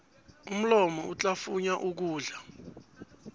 umlomo uhlafunya ukudla